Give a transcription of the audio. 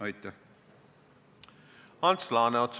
Ants Laaneots, palun!